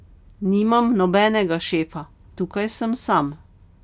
Nimam nobenega šefa, tukaj sem sam.